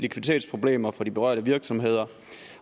likviditetsproblemer for de berørte virksomheder